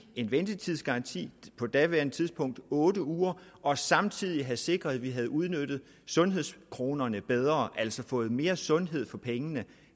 en ventetidsgaranti på daværende tidspunkt otte uger og samtidig have sikret at vi havde udnyttet sundhedskronerne bedre altså fået mere sundhed for pengene